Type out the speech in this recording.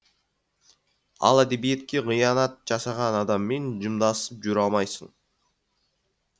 ал әдебиетке қиянат жасаған адаммен жымдасып жүре алмайсың